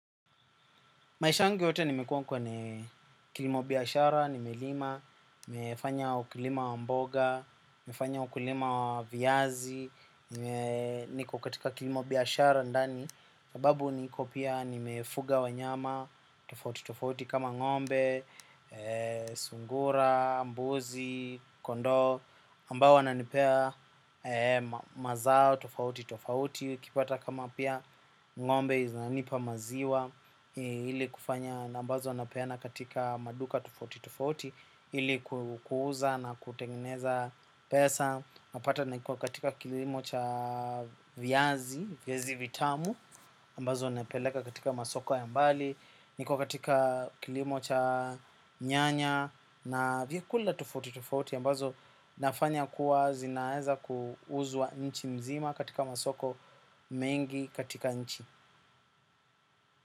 Maisha yangu yote nimekuwa kwenye kilimo biashara, nimelima, nimefanya ukulima wa mboga, nimefanya ukulima wa viazi, niko katika kilimo biashara ndani. Sababu niko pia nimefuga wanyama tofauti tofauti kama ng'ombe, sungura, mbuzi, kondoo ambao wananipea mazao tofauti tofauti ukpata kama pia ng'ombe zianipa maziwa ili kufanya na ambazo napeana katika maduka tofauti tofauti ili kuuza na kutengeneza pesa napata niko katika kilimo cha viazi, viazi vitamu ambazo napeleka katika masoko ya mbali. Niko katika kilimo cha nyanya na vyakula tofauti tofauti ambazo nafanya kuwa zinaeza kuuzuwa nchi mzima katika masoko mengi katika nchi.